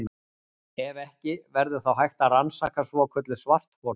Ef ekki, verður þá hægt að rannsaka svokölluð svarthol?